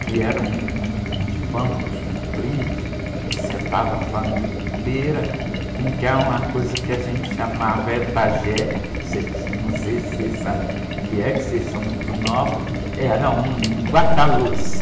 que era um, um, uns de bancos compridos, que sentava a família inteira, um que é uma coisa que a gente chamava, vocês que, não sei se vocês sabem o que é, porque vocês são muito novos, era um guarda-louça.